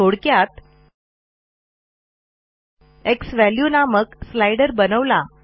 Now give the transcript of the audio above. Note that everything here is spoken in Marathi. थोडक्यात झ्वॅल्यू नामक स्लाइडर बनवला